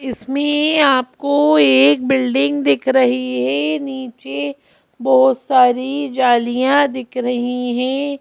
इसमें आपको एक बिल्डिंग दिख रही है नीचे बहुत सारी जालियाँ दिख रही है।